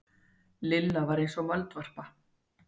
Lilla var eins og moldvarpa.